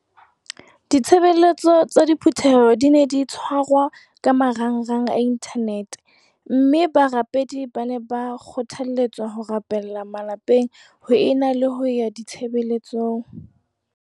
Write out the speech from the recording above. Ditshebeletso tsa diphu theho di ne di tshwarwa ka marangrang a inthanete mme barapedi ba ne ba kgothale tswa ho rapella malapeng ho e na le ho ya ditshebeletsong.